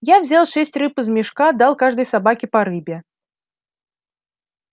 я взял шесть рыб из мешка дал каждой собаке по рыбе